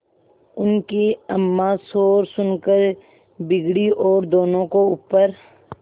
उनकी अम्मां शोर सुनकर बिगड़ी और दोनों को ऊपर